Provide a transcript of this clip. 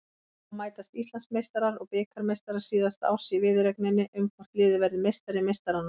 Þá mætast Íslandsmeistarar og bikarmeistarar síðasta árs í viðureigninni um hvort liðið verður meistari meistaranna.